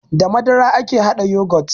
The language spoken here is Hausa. Da madara ake haɗa yagot